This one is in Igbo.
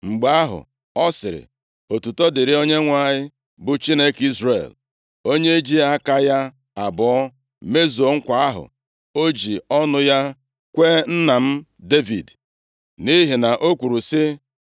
Mgbe ahụ ọ sịrị, “Otuto dịrị Onyenwe anyị, bụ Chineke Izrel. Onye ji aka ya abụọ mezuo nkwa ahụ o ji ọnụ ya kwee nna m Devid. Nʼihi na o kwuru sị,